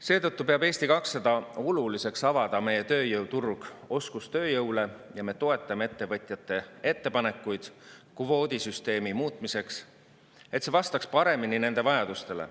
Seetõttu peab Eesti 200 oluliseks avada meie tööjõuturg oskustööjõule ja me toetame ettevõtjate ettepanekuid kvoodisüsteemi muutmiseks, et see vastaks paremini nende vajadustele.